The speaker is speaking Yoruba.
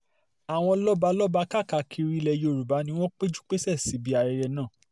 àwọn lọ́balọ́ba káàkiri ilẹ̀ yorùbá ni wọ́n péjú pésẹ̀ síbi ayẹyẹ náà